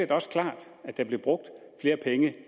også klart at der blev brugt flere penge